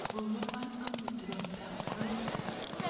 Korobon amut roptab koik